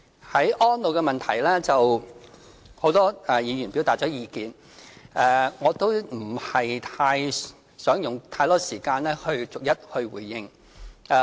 在安老方面，很多議員表達了意見，我也不想用太多時間逐一回應。